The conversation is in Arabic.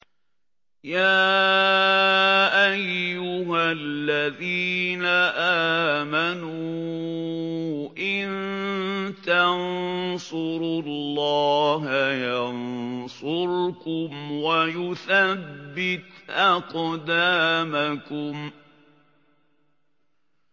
يَا أَيُّهَا الَّذِينَ آمَنُوا إِن تَنصُرُوا اللَّهَ يَنصُرْكُمْ وَيُثَبِّتْ أَقْدَامَكُمْ